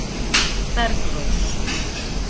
Bergrós